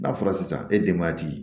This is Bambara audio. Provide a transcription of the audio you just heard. N'a fɔra sisan e denba ti